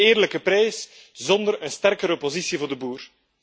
Geen eerlijke prijs zonder een sterkere positie voor de boer.